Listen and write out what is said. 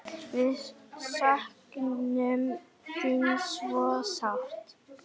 Við söknum þín svo sárt.